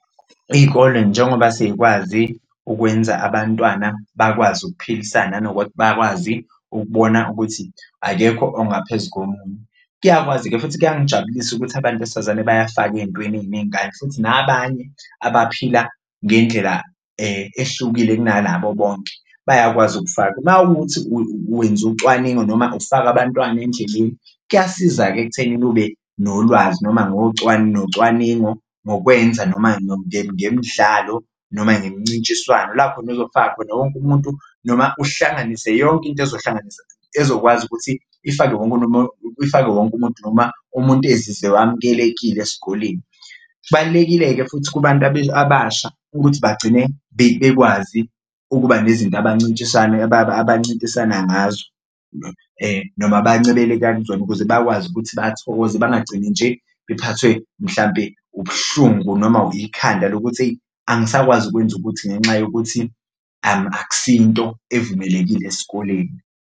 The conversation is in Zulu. Iy'kole njengoba seyikwazi ukwenza abantwana bakwazi ukuphilisana bakwazi ukubona ukuthi akekho ongaphezu komunye, kuyakwazi-ke futhi kuyangijabulisa ukuthi abantu besifazane bayafakwa ey'ntweni ey'ningi kanti futhi nabanye abaphila ngendlela ehlukile kunalabo bonke bayakwazi ukufaka. Uma kuwukuthi wenza ucwaningo noma ufaka abantwana endleleni kuyasiza-ke ekuthenini ube nolwazi noma nocwaningo ngokwenza noma ngemidlalo noma ngemincintshiswano. Lapho ozofaka khona wonke umuntu noma uhlanganise yonke into ezokwazi ukuthi ifake ifake wonke umuntu noma umuntu ezizwe ewamukelekile esikoleni. Kubalulekile-ke futhi kubantu abasha ukuthi bagcine bekwazi ukuba nezinto abancintisana ngazo noma abancebeleka kuzona ukuze bakwazi ukuthi bathokoze bangagcini nje bephathwe mhlambe ubuhlungu noma ikhanda lokuthi eyi angisakwazi ukwenza ukuthi ngenxa yokuthi akusiyo into evumelekile esikoleni.